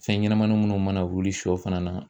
Fɛn ɲɛnɛmanin munnu mana wuli shɔ fana na